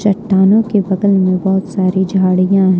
चट्टानों के बगल में बहोत सारी झाड़ियां है।